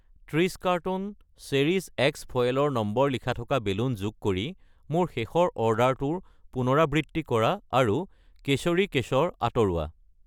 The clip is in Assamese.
30 কাৰ্টন চেৰিছ এক্স ফয়েলৰ নম্বৰ লিখা থকা বেলুন যোগ কৰি মোৰ শেষৰ অৰ্ডাৰটোৰ পুনৰাবৃত্তি কৰা আৰু কেশৰী কেশৰ আঁতৰোৱা।